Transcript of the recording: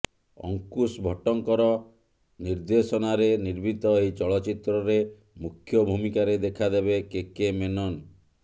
ଅଙ୍କୁଶ ଭଟ୍ଟଙ୍କର ନିର୍ଦେଶନାରେ ନିର୍ମିତ ଏହି ଚଳଚ୍ଚିତ୍ରରେ ମୁଖ୍ୟ ଭୂମିକାରେ ଦେଖାଦେବେ କେ କେ ମେନନ